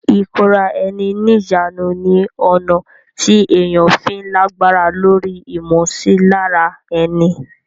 ìkóra ẹni níjàánu ni ọ̀nà tí èèyàn fi ń lágbára lóri ìmọsilára ẹni.